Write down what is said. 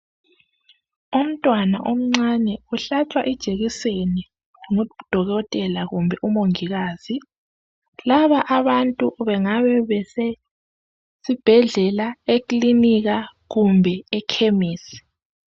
Umntwana omncane uhlatshwa ijekiseni ngudokotela kumbe umongikazi laba abantu bengaba besibhedlela, eklilinika kumbe ekhemisi.